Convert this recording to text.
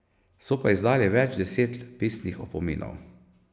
So pa izdali več deset pisnih opominov.